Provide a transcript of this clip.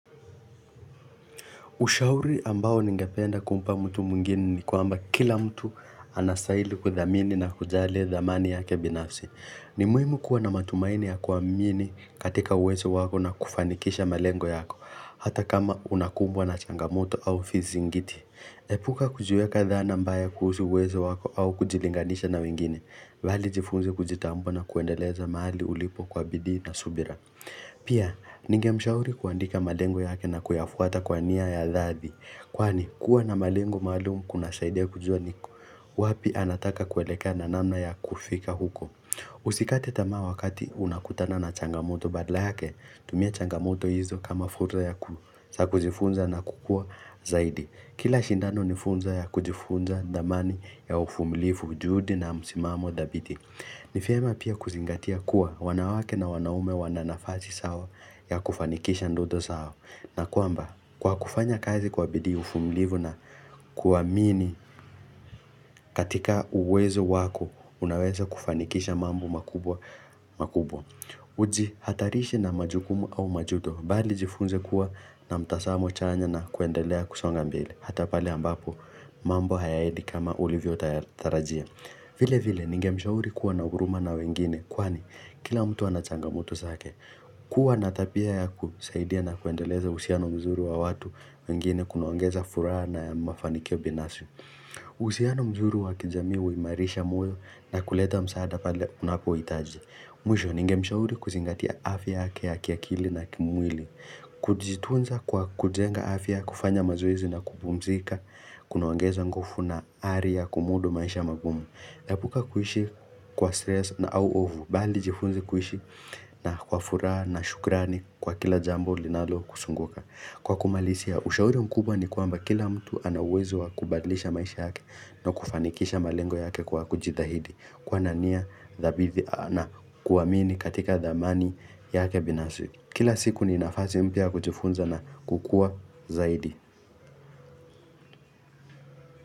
Ushauri ambao ningependa kumpa mtu mwingini ni kuamba kila mtu anastaili kudhamini na kujali dhamani yake binafsi. Nimuhimu kuwa na matumaini ya kuamini katika uwezo wako na kufanikisha malengo yako, hata kama unakumbwa na changamoto au fizingiti. Epuka kujiweka dhana mbaya kuhusu uwezo wako au kujilinganisha na wengine, ladhi jifunze kujitambua na kuendeleza mahali ulipo kwa bidii na subira. Pia, ninge mshauri kuandika malengo yake na kuyafuata kwa niya ya dhadi. Kwani, kuwa na malengo maalum kuna saide kujua niko. Wapi anataka kuelekea na namna ya kufika huko. Usikate tamaa wakati unakutana na changamoto badala yake, tumia changamoto hizo kama futa ya kuzifunza na kukua zaidi. Kila shindano nifunzo ya kujifunza dhamani ya uvumilivu juhudi na msimamo dhabiti. Ni vyema pia kuzingatia kuwa wanawake na wanaume wananafazi sao ya kufanikisha ndoto sao na kwamba kwa kufanya kazi kwa bidii uvumlivu na kuamini katika uwezo wako unaweza kufanikisha mambo makubwa makubwa. Uji hatarishi na majukumu au majuto bali jifunze kuwa na mtasamo chanya na kuendelea kusonga mbili hatapale ambapo mambo hayaedi kama ulivyo tarajia. Vile vile, ninge mshauri kuwa na huruma na wengine, kwani, kila mtu anachanga moto zake, kuwa natabia ya kusaidia na kuendeleza uhusiano mzuri wa watu wengine kunaongeza furaha na mafanikio binafsi. Uhusiano mzuri wa kijamii huimarisha moyo na kuleta msaada pale unapo itaji. Mwisho, ninge mshauri kuzingatia afya yake ya kiakili na kimwili. Kujitunza kwa kujenga afya kufanya mazoezi na kupumzika Kuna ongeza nguvu na hali ya kumudu maisha magumu epuka kuishi kwa stress na au hofu Bali jifunze kuishi na kwa furaha na shukrani kwa kila jambo linalo kusunguka Kwa kumalisia, ushauri mkubwa ni kwamba kila mtu anauwezo wakubadlisha maisha yake na kufanikisha malengo yake kwa kujithahidi kuwa nania, dhabithi na kuamini katika dhamani yake binafsi Kila siku ni nafasi mpia kujifunza na kukua zaidi.